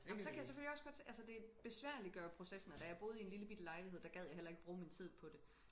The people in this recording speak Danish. Ej men så kan jeg selvfølgelig også godt se altså det besværliggør processen og da jeg boede i en lillebitte lejlighed der gad jeg heller ikke bruge min tid på det